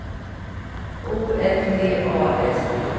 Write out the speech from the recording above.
O F T A S T